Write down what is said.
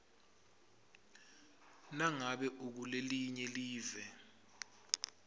nangabe ukulelinye live